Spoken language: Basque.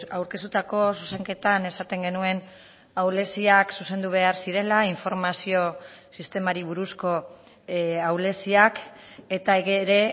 aurkeztutako zuzenketan esaten genuen ahuleziak zuzendu behar zirela informazio sistemari buruzko ahuleziak eta ere